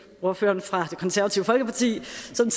ordføreren for det konservative folkeparti